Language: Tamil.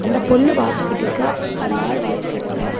இந்த பொண்ணு வாட்ச் கட்டி இருக்கா அந்த ஆளு வாட்ச் கட்டல.